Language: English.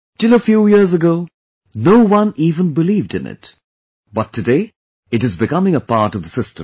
Till a few years ago, no one even believed in it , but today it is becoming a part of the system